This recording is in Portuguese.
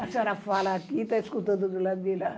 A senhora fala aqui, tá escutando do lado de lá.